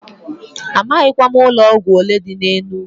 Amaghịkwa m ụlọ ọgwụ olee dị n'Enugu.